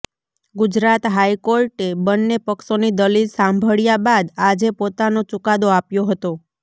ગુજરાત હાઈકોર્ટે બંને પક્ષોની દલીલ સાંભળ્યા બાદ આજે પોતાનો ચુકાદો આપ્યો હતો